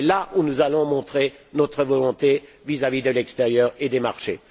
C'est là que nous allons montrer notre volonté vis à vis de l'extérieur et des marchés.